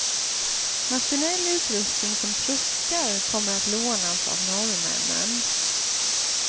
Maskinell utrustning som truckar kommer att lånas av norrmännen.